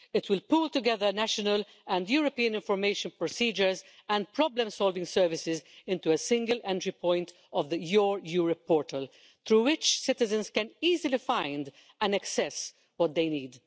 It will pool together national and European information procedures and problem solving services into a single entry point of the Your Europe portal, through which citizens can easily find and access what they need.